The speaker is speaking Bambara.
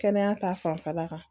Kɛnɛya ta fanfɛla kan